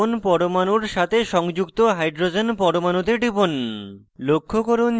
প্রথম carbon পরমাণুর সাথে সংযুক্ত hydrogen পরমাণুতে টিপুন